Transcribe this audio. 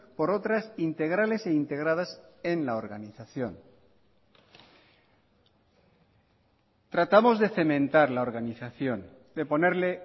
por otras integrales e integradas en la organización tratamos de cementar la organización de ponerle